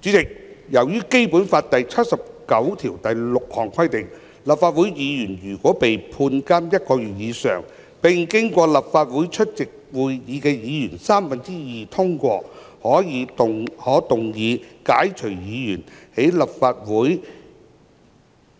主席，由於根據《基本法》第七十九條第六項規定，立法會議員如被判監1個月以上，並經過立法會出席會議的議員三分之二通過，可動議解除議員的立法會